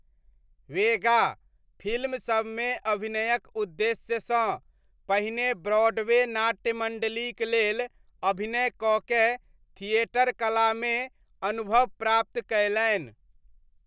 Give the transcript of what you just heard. वेगा, फिल्मसबमे अभिनयक उद्देश्यसँ, पहिने ब्रॉडवे नाट्य मण्डलीक लेल अभिनय कऽ कए थिएटर कलामे अनुभव प्राप्त कयलनि।